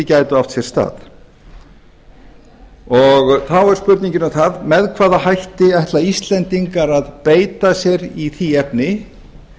gætu átt sér stað þá er spurningin um það með hvaða hætti ætla íslendingar að beita sér í því efni